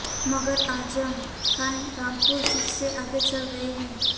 मगर आज़म खान रामपुर सीट से आगे चल रहे है